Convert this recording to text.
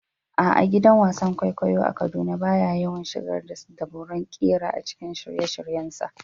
A'a, gidan wasan kwaikwayo a Kaduna ba ya yawan shigar da dabarun ƙira a cikin shirye-shiryensa.